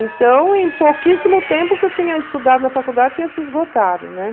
Então, em pouquíssimo tempo que eu tinha estudado na faculdade, tinha se esgotado, ne?